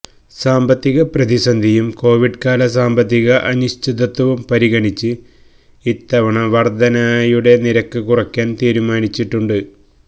സാമ്പത്തികപ്രതിസന്ധിയും കോവിഡ്കാല സാമ്പത്തിക അനിശ്ചതത്വവും പരിഗണിച്ച് ഇത്തവണ വർധനയുടെ നിരക്ക് കുറയ്ക്കാൻ തീരുമാനിച്ചിട്ടുണ്ട്